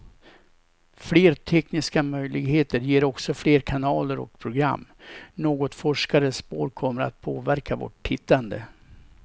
Fler tekniska möjligheter ger också fler kanaler och program, något forskare spår kommer att påverka vårt tittande.